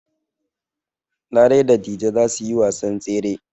Larai da Dije za su yi wasan tsere.